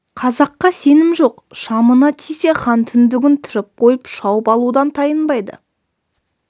қазаққа сенім жоқ шамына тисе хан түндігін түріп қойып шауып алудан тайынбайды